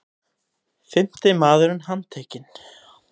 Fimmti maðurinn handtekinn